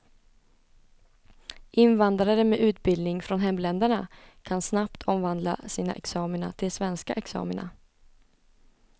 Invandrare med utbildning från hemländerna kan snabbt omvandla sina examina till svenska examina.